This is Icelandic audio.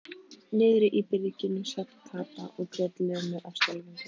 Niðri í byrginu sat Kata og grét lömuð af skelfingu.